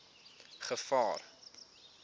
gevaar